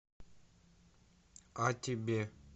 о тебе